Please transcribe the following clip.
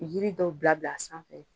Yiri dɔw bila bila a sanfɛ.